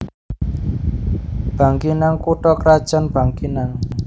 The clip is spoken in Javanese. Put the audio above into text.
Bangkinang kutha krajan Bangkinang